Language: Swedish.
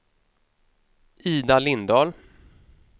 Ida Lindahl